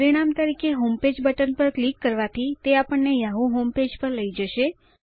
પરિણામ તરીકે homepage button પર ક્લિક કરવાથી તે આપણને યાહૂ હોમપેજ પર લઇ જાય છે